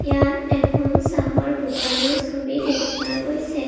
ইয়াত এখন চাহৰ দোকানৰ ছবি দেখুওৱা গৈছে।